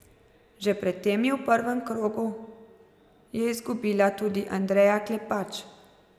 Že pred tem je v prvem krogu je izgubila tudi Andreja Klepač.